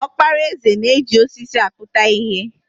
Okpara eze na-eji osisi akputa ihe.